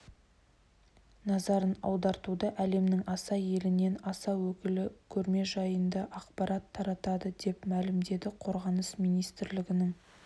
назарын аудартуда әлемнің аса елінен аса өкілі көрме жайында ақпарат таратады деп мәлімдеді қорғаныс министрлігінің